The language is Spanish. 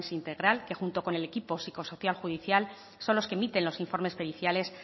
integral que junto con el equipo psicosocial judicial son los que emiten los informes periciales